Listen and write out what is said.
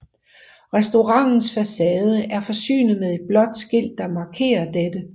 Restaurantens facade er forsynet med et blåt skilt der markerer dette